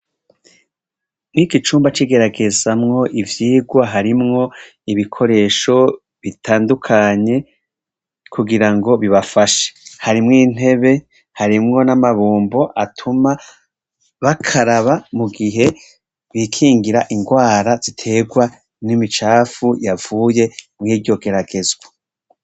Mw' iki cumba c' igeragezamwo ivyigwa harimwo ibikoresho bitandukanye kugira ngo bibafashe harimwo intebe harimwo n' amabombo atuma bakaraba mugihe bikingira ingwara zitegwa n' imicafu yavuye muri iryo geragezwa.